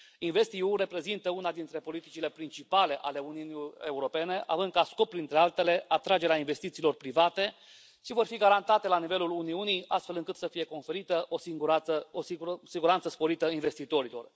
InvestEU reprezintă una dintre politicile principale ale Uniunii Europene, având ca scop, printre altele, atragerea investițiilor private ce vor fi garantate la nivelul Uniunii, astfel încât să fie oferită o siguranță sporită a investitorilor.